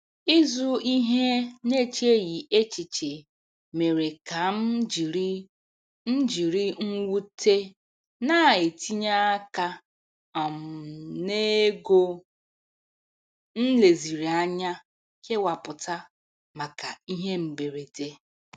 Ịzụ ihe n'echeghị echiche mere ka m jiri m jiri mwute na-etinye aka um n'ego m leziri anya kewapụta maka ihe mberede.